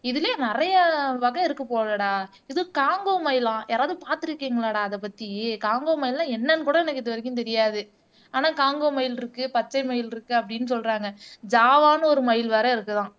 இதுலயும் நிறைய வகை இருக்கு போலடா இது காங்கோ மயிலாம் யாராவது பார்த்து இருக்கீங்களாடா அதை பத்தி காங்கோ மயில்ன்னா என்னன்னு கூட எனக்கு இது வரைக்கும் தெரியாது ஆனா காங்கோ மயில் இருக்கு பச்சை மயில் இருக்கு அப்படின்னு சொல்றாங்க ஜாவான்னு ஒரு மயில் வேற இருக்குதாம்